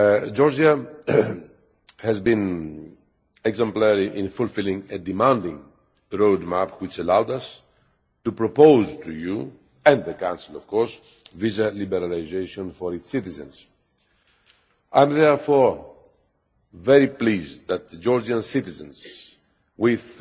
Georgia has been exemplary in fulfilling a demanding roadmap which allowed us to propose to you and the Council of course visa liberalisation for its citizens. I am therefore very pleased that Georgian citizens with